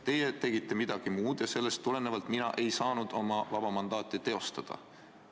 Teie tegite midagi muud ja sellest tulenevalt mina ei saanud oma vaba mandaati teostada.